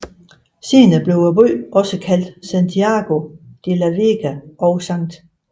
Senere blev byen også kaldt Santiago de la Vega og St